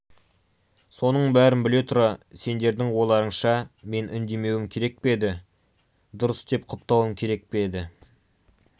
соның бәрін біле тұра сендердің ойларыңша мен үндемеуім керек пе еді дұрыс деп құптауым керек пе еді